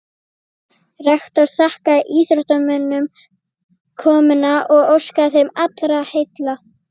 Rektor þakkaði íþróttamönnum komuna og óskaði þeim allra heilla.